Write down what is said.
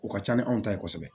O ka ca ni anw ta ye kosɛbɛ